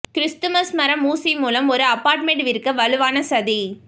Christmas மரம் ஊசி மூலம் ஒரு அபார்ட்மெண்ட் விற்க வலுவான சதி